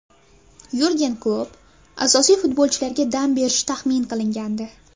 Yurgen Klopp asosiy futbolchilariga dam berishi tahmin qilingandi.